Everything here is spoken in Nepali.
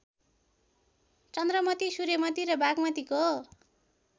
चन्द्रमती सूर्यमती र बागमतीको